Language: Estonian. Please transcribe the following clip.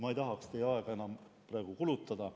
Ma ei tahaks teie aega praegu enam kulutada.